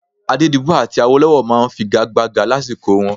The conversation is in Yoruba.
Adédibú àti Awólọ́wọ̀ máa ń figagbága lásìkò wọn